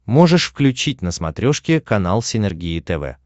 можешь включить на смотрешке канал синергия тв